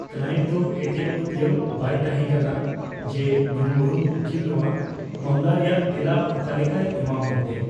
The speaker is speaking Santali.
ᱠᱞᱟᱭᱮᱱᱴ ᱫᱚ ᱠᱮᱴᱮᱡ ᱯᱟᱹᱛᱭᱟᱹᱣ ᱵᱟᱭ ᱛᱟᱷᱮᱸ ᱠᱟᱱᱟ ᱡᱮ ᱧᱩᱢᱩᱨᱩᱢ ᱩᱠᱤᱞ ᱱᱚᱶᱟ ᱢᱟᱢᱞᱟ ᱨᱮᱭᱟᱜ ᱛᱮᱞᱟ ᱚᱠᱟ ᱞᱮᱠᱟᱭ ᱮᱢᱟ ᱢᱮᱱᱛᱮ ᱾